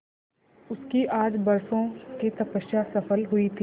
उसकी आज बरसों की तपस्या सफल हुई थी